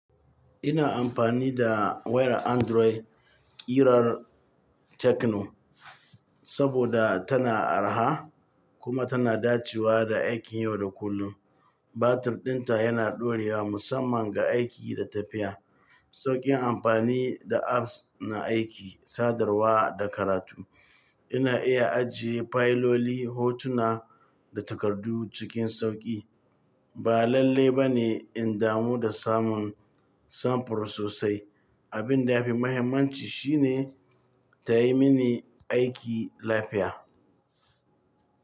Ina amfani da wayar Android kirar Tecno saboda tana araha kuma tana dacewa da aikin yau da kullum. Batir ɗinta yana ɗorewa musamman ga aiki da tafiya. Sauƙin amfani da apps na aiki, sadarwa da karatu. Ina iya ajiye fayiloli, hotuna da takardu cikin sauƙi. Ba lalle ba ne in damu da samun samfur sosai. Abin da ya fi mahimmanci shine ta yi mini aiki lafiya.